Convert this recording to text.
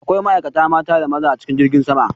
Akwai ma'aikata mata da maza a cikin jirgin sama.